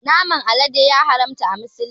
Naman alade ya haramta a musulunci